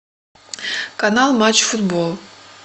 канал матч футбол